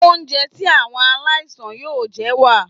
Oúnjẹ tí àwọn aláìsàn yóò jẹ wà.